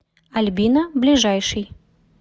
альбина ближайший